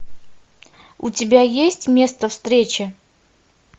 у тебя есть место встречи